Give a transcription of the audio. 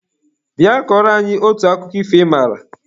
Bịa kọrọ anyị otu akụkọ ifo ị maara!